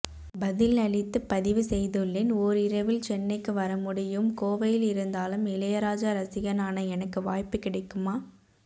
பதில் அளித்து பதிவு செய்துள்ளேன் ஓரிரவில் சென்னைக்கு வரமுடியும் கோவையில் இருந்தாலும் இளையராஜா ரசிகனான எனக்கு வாய்ப்பு கிடைக்குமா